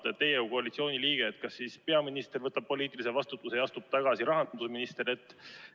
Küsin teilt kui koalitsiooni liikmelt: kas peaminister võtab poliitilise vastutuse ja astub tagasi või teeb seda rahandusminister?